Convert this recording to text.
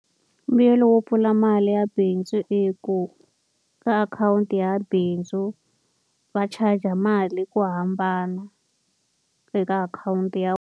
Mbuyelo wo pfula mali ya bindzu i ku, ka akhawunti ya bindzu va charge-a mali ku hambana eka akhawunti ya.